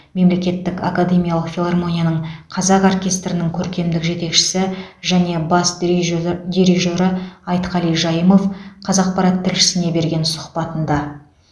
мемлекеттік академиялық филармонияның қазақ оркестрінің көркемдік жетекшісі және бас дириже дирижері айтқали жайымов қазақпарат тілшісіне берген сұхбатында